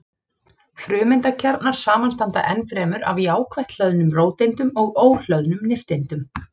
Frumeindakjarnar samanstanda ennfremur af jákvætt hlöðnum róteindum og óhlöðnum nifteindum.